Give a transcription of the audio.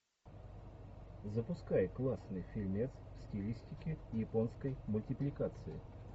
запускай классный фильмец в стилистике японской мультипликации